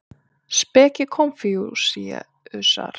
Speki Konfúsíusar.